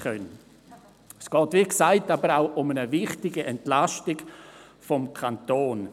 Wie gesagt, geht es aber auch um eine wichtige Entlastung des Kantons.